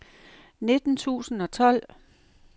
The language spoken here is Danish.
nitten tusind og tolv